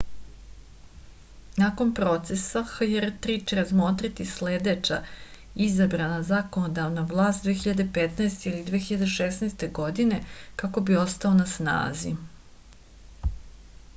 nakon procesa hjr-3 će razmotriti sledeća izabrana zakonodavna vlast 2015. ili 2016. godine kako bi ostao na snazi